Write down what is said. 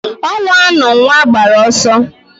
Onwa anu nwa gbara oso